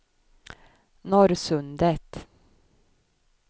Norrsundet